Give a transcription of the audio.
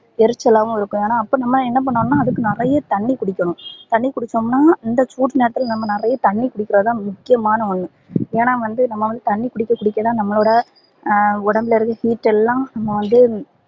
எரிச்சலாவும் இருக்கும் ஆனா அப்போ நம்ப என்ன பண்ணனும்னா அதுக்கு நிறையா தண்ணீ குடிக்கனும் தண்ணீ குடிச்சோம்னா இந்த சூடு நேரத்துல நம்ப நெறைய தண்ணி குடிகர்தா முக்கியமான ஒன்னு ஏனா வந்து நம்ப வந்து தண்ணீ குடிக்க குடிக்கதா நம்பளோட உடம்புல இருந்து heat எல்லாம் வந்து